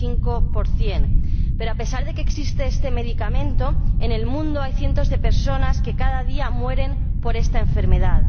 95 Pero, a pesar de que existe este medicamento, en el mundo hay cientos de personas que cada día mueren por esta enfermedad.